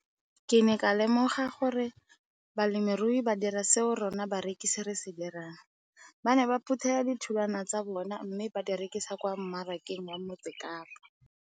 Ke ne ka lemoga gape gore balemirui ba dira seo rona barekisi re se dirang - ba ne ba phuthela ditholwana tsa bona mme ba di rekisa kwa marakeng wa Motsekapa.